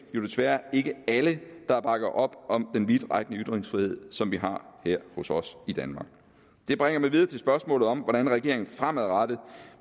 desværre ikke alle der bakker op om den vidtrækkende ytringsfrihed som vi har her i danmark det bringer mig videre til spørgsmålet om hvordan regeringen fremadrettet